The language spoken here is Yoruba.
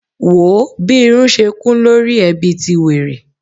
Wòó bí irun ṣe kún lórí ẹ bí ti wèrè.